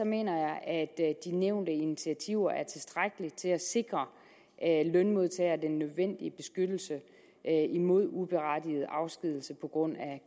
mener jeg at de nævnte initiativer er tilstrækkelige til at sikre lønmodtagere den nødvendige beskyttelse imod uberettiget afskedigelse på grund af